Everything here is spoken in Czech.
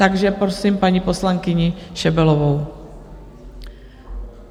Takže prosím paní poslankyni Šebelovou.